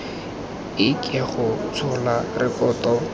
e ke go tshola rekoto